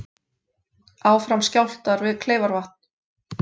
Áfram skjálftar við Kleifarvatn